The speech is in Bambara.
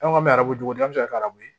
An ka arajo jo denmisɛnw bɛ se ka arabu